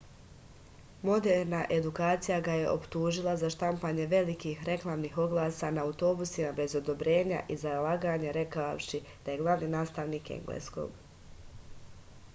moderna edukacija ga je optužila za štampanje velikih reklamnih oglasa na autobusima bez odobrenja i za laganje rekavši da je glavni nastavnik engleskog